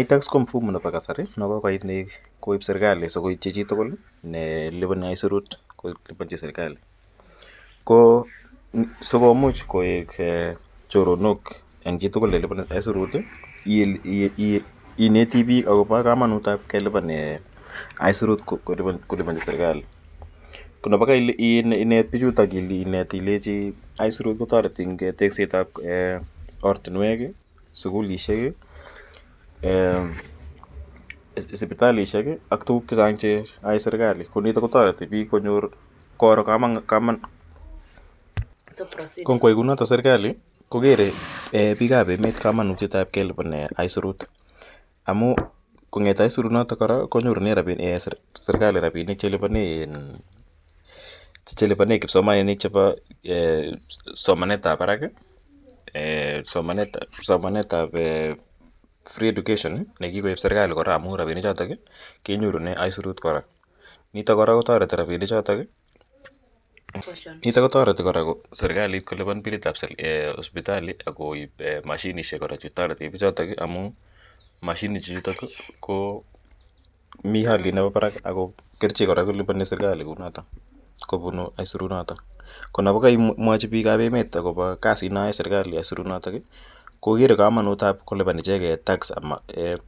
Itax ko mfumo nepo kasari ne kokoit ne kokoip serkali asikoitchi chi tugul nelipani aisurut kolipanchin serkali. Ko si komuch koek choronok eng' chi tugul ne lipani aisurut i, ineti piik akopa kamanut ap kelipan aisurut kelipanchi serkali. Ko nepai kainet pichutok inet ilechi isurut ko tareti eng' tekset ap oratinwek i, sukulishek i , sipitalishek ak tuguk che chang' che yae serkali. Ko tuguuk che chang' che yae serkali. Nitok ko tareti piik che chang' koro kamanutiet. Ko ngo yai kou notok serkali ko kere piik kamanutiet ap kelipan aisurut amu kong'ete aisurunotok kora konyorune serkali rapinik che lipane kipsomaninik chepa somanet ap parak. Somanet ap free education ne kikoip serkali kora amu rapinichotok lenyorune aisurut kora. Nitok kotareti kora serkalit kolipan pilit ap siptali akoip mashinishek kora che kitarete pichotok amu mashinishechutok ko mi aliet nepa parak ako kerichek kora kolipani serkali kou notok kopunu aisurunotok. Ko ye kaimwachi piik al emet akopa kasit neyae aisurinotok kokere ichege kamanut nepo kolipan icheget tax anan ko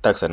aisurut.